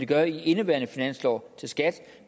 gør i indeværende finansår